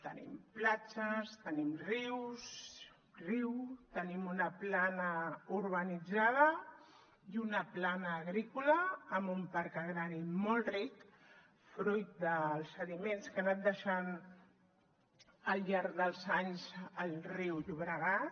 tenim platges tenim riu tenim una plana urbanitzada i una plana agrícola amb un parc agrari molt ric fruit dels sediments que ha anat deixant al llarg dels anys el riu llobregat